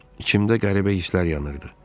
İçimdə qəribə hisslər yanırdı.